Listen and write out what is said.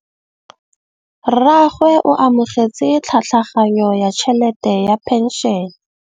Rragwe o amogetse tlhatlhaganyô ya tšhelête ya phenšene.